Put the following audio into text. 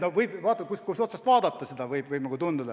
Oleneb, kust otsast vaadata.